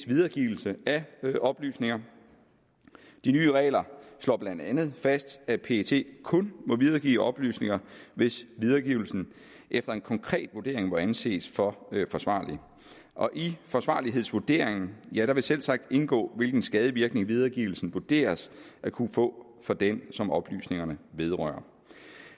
videregivelse af oplysninger de nye regler slår blandt andet fast at pet kun må videregive oplysninger hvis videregivelsen efter en konkret vurdering må anses for forsvarlig og i forsvarlighedsvurderingen vil selvsagt indgå hvilken skadevirkning videregivelsen vurderes at kunne få for den som oplysningerne vedrører